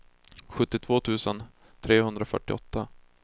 sjuttiotvå tusen trehundrafyrtioåtta